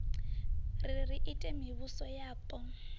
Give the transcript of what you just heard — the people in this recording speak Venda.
ri ri ite mivhuso yapo